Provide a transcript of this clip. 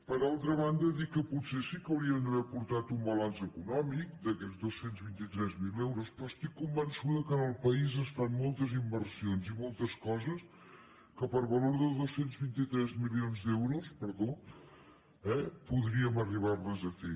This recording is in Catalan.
per altra banda dir que potser sí que haurien d’haver portat un balanç econòmic d’aquests dos cents i vint tres mil euros però estic convençuda que al país es fan moltes inversions i moltes coses que per valor de dos cents i vint tres milions d’euros perdó podríem arribarles a fer